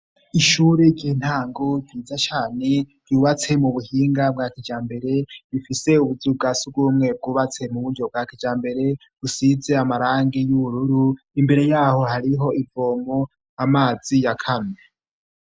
Ishure ry'intango ryiza cane ryubatse mu buhinga bwa kijambere bifise ibuzu bwa surwumwe bwubatse mu buryo bwa kijambere busize amarangi y'ubururu, imbere yaho hariho ivomo amazi yakamye.